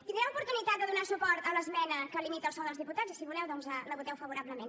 tindreu oportunitat de donar suport a l’esmena que limita el sous dels diputats i si voleu doncs la voteu favorablement